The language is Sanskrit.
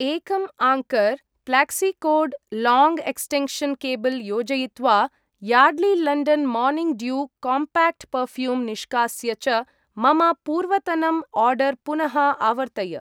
एकं anchor flexicord long extension cable योजयित्वा Yardley London morning dew compact perfume निष्कास्य च मम पूर्वतनम् आर्डर् पुनः आवर्तय।